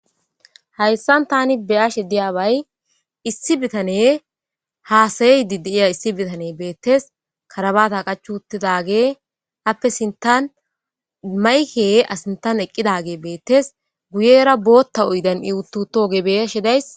Hayssan tani be'ashe diyaabay issi bitaney haasa'idi diya issi bitaney beettes. Karabata qachchi uttidagey aape sinttan mayikey a sinttan eqqidagey beettes. Guyera ii bootta oydan utti uttoga be'ashe dayssi.